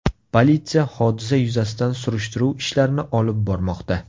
Politsiya hodisa yuzasidan surishtiruv ishlarini olib bormoqda.